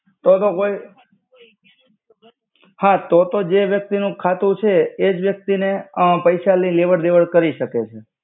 તો તો કોઇ હા તો તો જે વ્યક્તિ નુ ખાતુ છી એજ વ્યક્તિ ને અ પૈસા નિ લેવડ-દેવડ કરિ સકે.